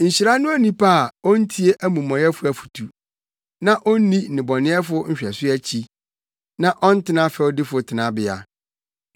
Nhyira ne onipa a ontie amumɔyɛfo afotu na onni nnebɔneyɛfo nhwɛso akyi na ɔntena fɛwdifo tenabea.